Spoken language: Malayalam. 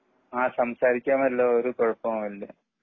ആ സംസാരിക്കാമല്ലോ ഒരു കുഴപ്പവും ഇല്ല.